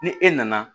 Ni e nana